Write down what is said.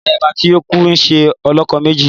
Ayaba ti ọ kù nṣe olokomeji